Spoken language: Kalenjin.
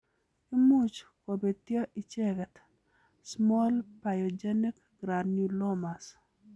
Imuch kobetyo icheket Small pyogenic granulomas